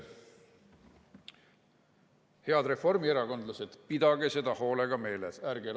Head reformierakondlased, pidage seda hoolega meeles!